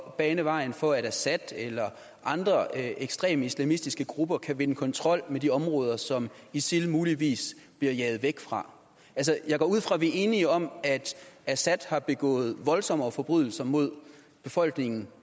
bane vejen for at assad eller andre ekstreme islamistiske grupper kan vinde kontrol med de områder som isil muligvis bliver jaget væk fra altså jeg går ud fra at vi er enige om at assad har begået voldsommere forbrydelser mod befolkningen